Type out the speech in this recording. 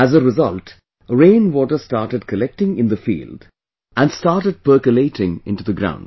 As a result rain water started collecting in the field, and started percolating into the ground